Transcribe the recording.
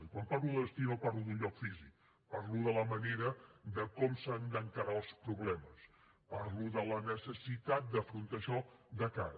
i quan parlo de destí no parlo d’un lloc físic parlo de la manera com s’han d’encarar els problemes parlo de la necessitat d’afrontar això de cara